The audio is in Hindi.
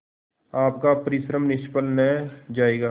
आपका परिश्रम निष्फल न जायगा